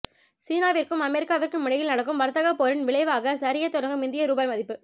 சீனாவிற்கும் அமெரிக்காவிற்கும் இடையில் நடக்கும் வர்த்தகப் போரின் விளைவாக சரியத் தொடங்கும் இந்திய ரூபாய் மதிப்பு